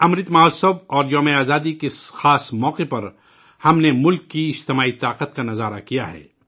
امرت مہوتسو اور یومِ آزادی کے اس خاص موقع پر ہم نے ملک کی اجتماعی طاقت کا مشاہدہ کیا ہے